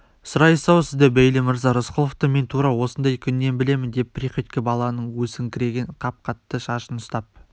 сұрайсыз-ау сіз де бейли мырза рысқұловты мен тура осындай күнінен білемін деп приходько баланың өсіңкіреген қап-қатты шашынан ұстап